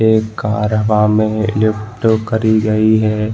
एक कार हवा में लिफ्ट करी गई है।